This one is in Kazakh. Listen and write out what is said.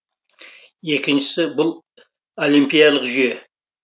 екіншісі бұл олимпиялық жүйе